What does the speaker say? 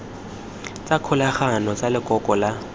tsa kgolagano tsa lekoko la